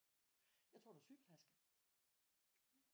Jeg tror du er sygeplejerske